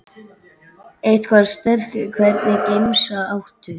Eitthvað sterkt Hvernig gemsa áttu?